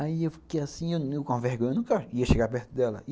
Aí eu fiquei assim, com vergonha, eu nunca ia chegar perto dela.